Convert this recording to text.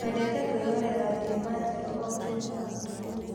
Twendete kwĩrorera thinema njerũ o jumaa ũtukũ.